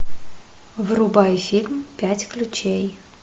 врубай фильм пять ключей